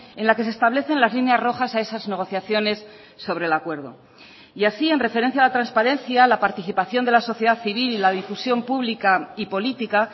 en la que se establecen las líneas rojas a esas negociaciones sobre el acuerdo y así en referencia a la transparencia la participación de la sociedad civil y la difusión pública y política